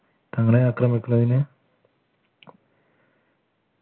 തങ്ങളെ ആക്രമിക്കുന്നതിന്